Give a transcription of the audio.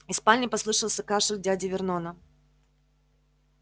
из спальни послышался кашель дяди вернона